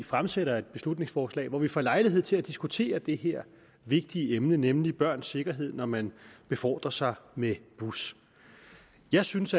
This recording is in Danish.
fremsætter et beslutningsforslag hvor vi får lejlighed til at diskutere det her vigtige emne nemlig børns sikkerhed når man befordrer sig med bus jeg synes